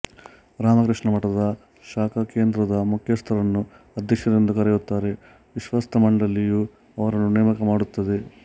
ರಾಮಕೃಷ್ಣ ಮಠದ ಶಾಖಾಕೇಂದ್ರದ ಮುಖ್ಯಸ್ಥರನ್ನು ಅಧ್ಯಕ್ಷರೆಂದು ಕರೆಯುತ್ತಾರೆ ವಿಶ್ವಸ್ತ ಮಂಡಳಿಯು ಅವರನ್ನು ನೇಮಕ ಮಾಡುತ್ತದೆ